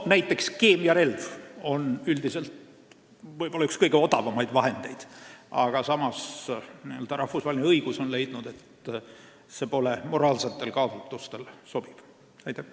Näiteks keemiarelv on üldiselt üks kõige odavamaid vahendeid, aga samas pole seda rahvusvahelise õiguse järgi moraalsetel kaalutlustel sobiv kasutada.